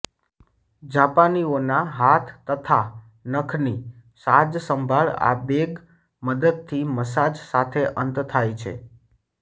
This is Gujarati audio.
જાપાનીઓના હાથ તથા નખની સાજસંભાળ આ બેગ મદદથી મસાજ સાથે અંત થાય છે